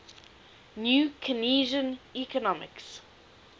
new keynesian economics